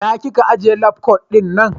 ina Ka ajiye labkwat dina?